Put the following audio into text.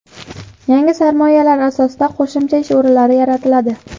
Yangi sarmoyalar asosida qo‘shimcha ish o‘rinlari yaratiladi.